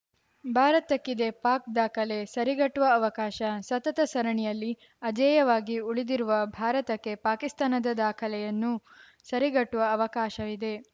ಭಾರತಕ್ಕಿದೆ ಪಾಕ್‌ ದಾಖಲೆ ಸರಿಗಟ್ಟುವ ಅವಕಾಶ ಸತತ ಸರಣಿಯಲ್ಲಿ ಅಜೇಯವಾಗಿ ಉಳಿದಿರುವ ಭಾರತಕ್ಕೆ ಪಾಕಿಸ್ತಾನದ ದಾಖಲೆಯನ್ನು ಸರಿಗಟ್ಟುವ ಅವಕಾಶವಿದೆ